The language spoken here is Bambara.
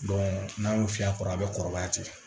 n'a y'o fiyɛ a kɔrɔ a bɛ kɔrɔbaya ten